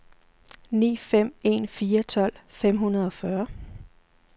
ni fem en fire tolv fem hundrede og fyrre